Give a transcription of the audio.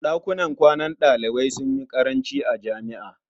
Ɗakunan kwanan ɗalibai sun yi ƙaranci a jami'a.